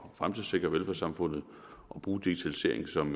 fremtidssikre velfærdssamfundet og bruge digitalisering som